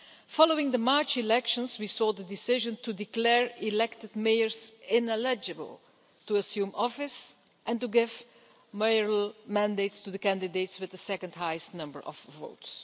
Following the March elections, we saw the decision to declare elected mayors ineligible to assume office and to give mayoral mandates to the candidates with the second highest number of votes.